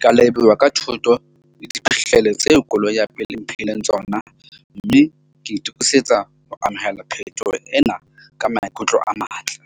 Ke a leboha ka thuto le diphihlelo tse koloi ya pele mphileng tsona. Mme ke itokisetsa ho amohela phethoho ena ka maikutlo a matle.